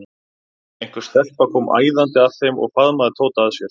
Einhver stelpa kom æðandi að þeim og faðmaði Tóta að sér.